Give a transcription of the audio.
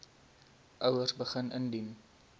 ouers begin indien